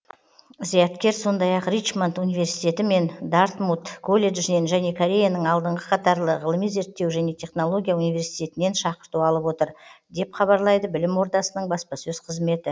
зияткер сондай ақ ричмонд университеті мен дартмут колледжінен және кореяның алдыңғы қатарлы ғылыми зерттеу және технология университетінен шақырту алып отыр деп хабарлайды білім ордасының баспасөз қызметі